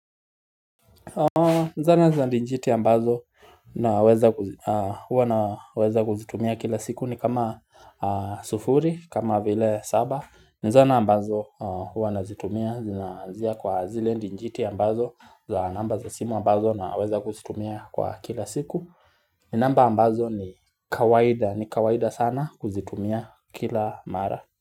Nzana za ndijiti ambazo naweza kuzitumia kila siku ni kama sufuri kama vile saba Nzana ambazo hua nazitumia zinaanzia kwa zile ndinjiti ambazo za namba za simu ambazo na weza kuzitumia kwa kila siku namba ambazo ni kawaida ni kawaida sana kuzitumia kila mara.